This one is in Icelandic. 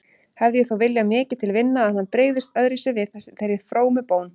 Hefði ég þó viljað mikið til vinna að hann brygðist öðruvísi við þeirri frómu bón.